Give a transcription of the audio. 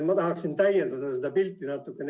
Ma tahaksin seda pilti natuke täiendada.